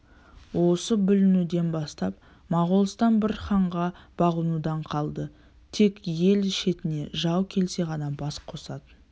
осы бүлінуден бастап моғолстан бір ханға бағынудан қалды тек ел шетіне жау келсе ғана бас қосатын